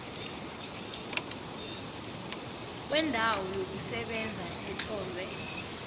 kwendawo yokusebenza etlolwe